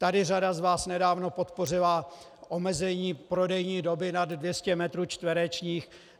Tady řada z vás nedávno podpořila omezení prodejní doby nad 200 metrů čtverečních.